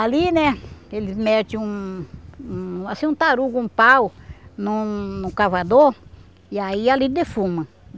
Ali, né, eles mete um um assim um tarugo, um pau num num cavador e aí ali defuma.